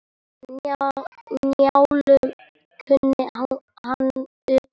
Njálu kunni hann utan að.